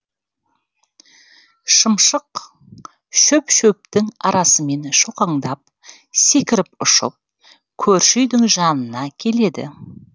шымшық шөп шөптің арасымен шоқаңдап секіріп ұшып көрші үйдің жанына келеді